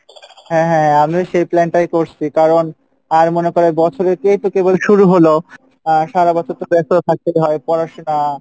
হ্যাঁ হ্যাঁ, আমিও সেই plan টাই করসি কারন, আর মনে করো বছরে এই তো কেবল শুরু হলো আর সারা বছর তো থাকতে হয় পড়াশোনা